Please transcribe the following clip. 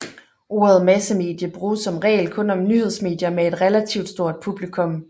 Ordet massemedie bruges som regel kun om nyhedsmedier med et relativ stort publikum